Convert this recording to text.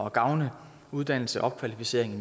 at gavne uddannelse opkvalificering